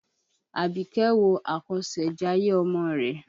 Àbíkẹ́ wo àkọsẹ̀jayé ọmọ rẹ̀.